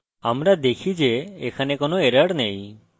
আমরা দেখি যে এখানে কোনো error নেই